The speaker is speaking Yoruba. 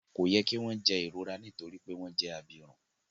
Ko yẹ ki wọn jẹ ìrora nitori wípé wọn jẹ abirùn.